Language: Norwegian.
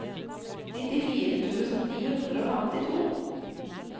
nittifire tusen ni hundre og femtito